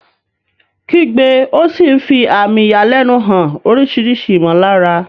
Kígbe ó sì ń fi àmì ìyàlẹ́nu hàn oríṣiríṣi ìmọ̀lára.